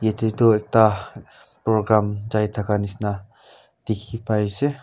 ete toh ekta program tai thaka nishina dikhi pai ase.